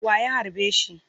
Wa ya harbe shi?